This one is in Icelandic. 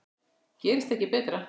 Gerist ekki betra!